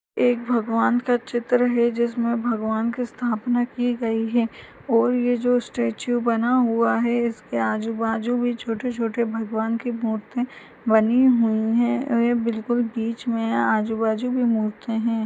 एक भगवन का चित्र है जिसमे भगवन की स्थापना की गई है और ये जो स्टेचू बना हुआ है। इसके आजु बाजु भी छोटे छोटे भगवान की मूर्ति बनी हुई है और ये बिलकुल बीच में आजु बाजु की मूर्ति है।